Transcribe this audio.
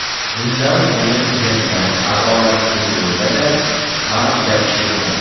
Bunday o‘yin jirkanch, adolatsiz bo‘lsa-da, ba’zida ish bermoqda.